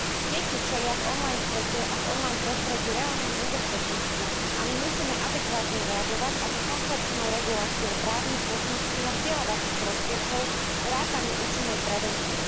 Deti čelia v online svete a v online prostredí reálnemu nebezpečenstvu a my musíme adekvátne reagovať, a to komplexnou reguláciou právnych, technických a vzdelávacích prostriedkov vrátane účinnej prevencie.